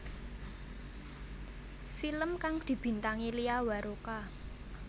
Film kang dibintangi Lia Waroka